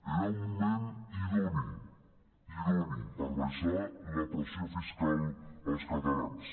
era un moment idoni idoni per abaixar la pressió fiscal als catalans